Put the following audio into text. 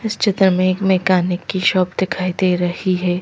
इस चित्र में एक मैकेनिक की शॉप दिखाई दे रही है।